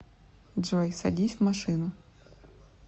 джой садись в машину